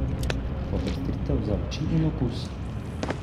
Popestritev za oči in okus.